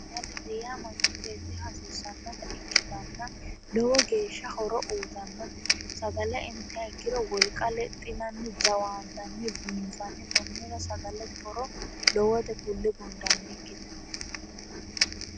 sagale yaa manchi beetira hasiissanotta ikitanna lowo geeshsha horo uuyitannotte sagale intiha ikiro woliqa lexinanni jawaantanni biinfanni konnira sagalete horo lowote kulannikkitte